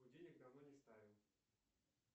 будильник давно не ставим